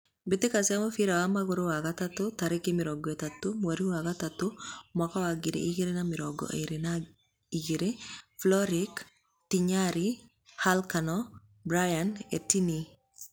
Mbitika cia mũbira wa magũrũ wa gatatu tariki thate mwerinĩ wa gatatũ mwakainĩ wa ngiri igĩrĩ na mĩrongo ĩri na igĩrĩ: Floric, Ntinyari, Halkano, Brian, Ettiene